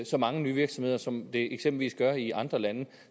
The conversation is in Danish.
så mange nye virksomheder som det eksempelvis gør i andre lande